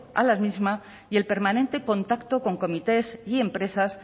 a las mismas y el permanente contacto con comités y empresas